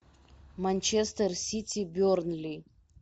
манчестер сити бернли